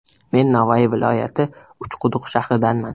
Men Navoiy viloyati, Uchquduq shahridanman.